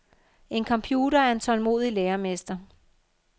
En computer er en tålmodig læremester.